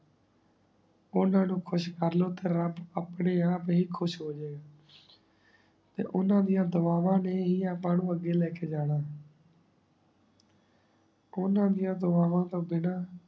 ਓਨਾ ਨੂ ਖੁਸ਼ ਕਰ ਲੋ ਤੇ ਰਾਬ ਅਪਨੇ ਆਪ ਹੀ ਖੁਸ਼ ਹੋ ਜੇ ਗਾ ਤੇ ਓਨਾ ਦਿਯਾ ਦੁਆਵਾਂ ਨੇ ਹੀ ਆਪਾ ਨੂ ਆਗੇ ਲੇ ਕੇ ਜਾਣਾ ਹੋਣਾ ਦਿਯਾ ਦੁਆਵਾਂ ਤੋ ਬਿਨਾ